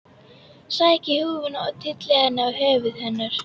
Sæki húfuna og tylli henni á höfuð hennar.